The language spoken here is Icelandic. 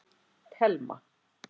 Telma